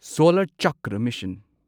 solar Chakra mission